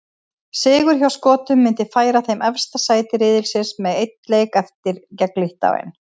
Sigur hjá Skotum myndi færa þeim efsta sæti riðilsins með einn leik eftir, gegn Litháen.